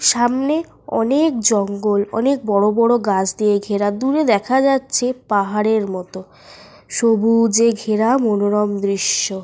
সামনে অনেক জঙ্গল। অনেক বড় বড় গাছ দিয়ে ঘেরা। দূরে দেখা যাচ্ছে পাহাড়ের মত। সবুজে ঘেরা মনোরম দৃশ্য।